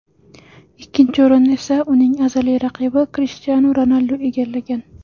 Ikkinchi o‘rinni esa, uning azaliy raqibi Krishtianu Ronaldu egallagan.